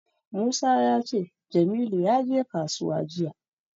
Musa ya ce Jamilu ya je kasuwa jiya.